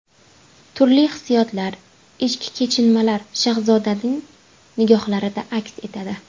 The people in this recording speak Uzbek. Turli hissiyotlar, ichki kechinmalar Shahzodaning nigohlarida aks etadi.